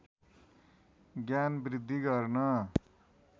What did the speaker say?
ज्ञान वृद्धि गर्न